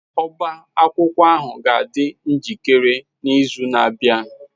Ọbá akwụkwọ ahụ ga-adị njikere n'izu na-abịa.